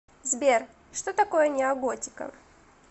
сбер что такое неоготика